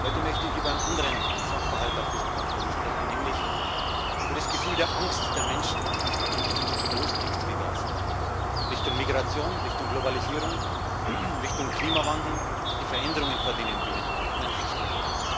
Heute möchte ich über einen anderen Sachverhalt auf diesem Kontinent sprechen, nämlich über das Gefühl der Angst der Menschen auf diesem Kontinent, die Verlustängste, die da sind, Richtung Migration, Globalisierung, Klimawandel, die Veränderungen, vor denen die Menschen stehen.